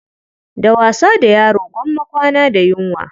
Da wasa da yaro gwamma kwana da yunwa.